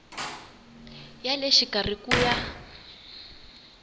ya le xikarhi ku ya